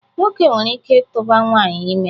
Nwoke nwere ike itụba nwaanyị ime